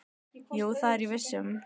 Jú, það er ég viss um.